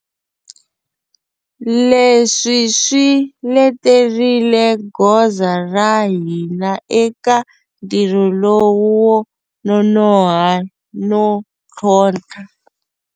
Leswi swi leterile goza ra hina eka ntirho lowu wo nonoha no tlhontlha.